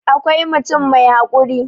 awkai mutum mai haƙuri